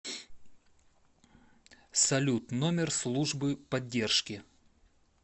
салют номер службы поддержки